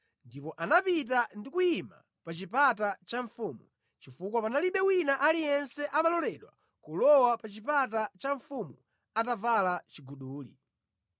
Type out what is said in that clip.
Ndipo anapita ndi kuyima pa chipata cha mfumu, chifukwa panalibe wina aliyense amaloledwa kulowa pa chipata cha mfumu atavala chiguduli.